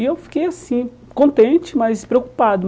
E eu fiquei assim, contente, mas preocupado.